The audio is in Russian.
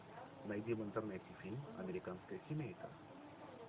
найди в интернете фильм американская семейка